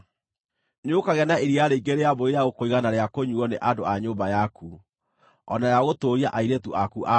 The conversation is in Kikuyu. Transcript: Nĩũkagĩa na iria rĩingĩ rĩa mbũri rĩa gũkũigana na rĩa kũnyuuo nĩ andũ a nyũmba yaku, o na rĩa gũtũũria airĩtu aku a wĩra.